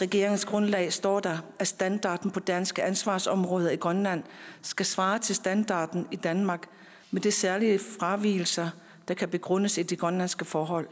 regeringsgrundlag står der at standarden på danske ansvarsområder i grønland skal svare til standarden i danmark med de særlige fravigelser der kan begrundes af de grønlandske forhold